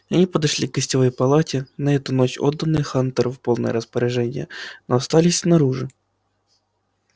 и они подошли к гостевой палате на эту ночь отданной хантеру в полное распоряжение но остались снаружи